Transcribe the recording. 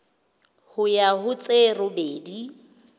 ho ya ho tse robedi